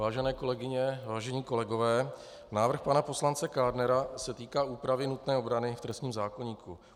Vážené kolegyně, vážení kolegové, návrh pana poslance Kádnera se týká úpravy nutné obrany v trestním zákoníku.